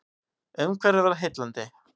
Umhverfið var heillandi.